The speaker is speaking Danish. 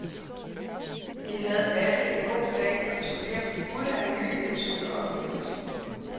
Vi havde alle en god dag og tog hjem fulde af nye indtryk og oplevelser.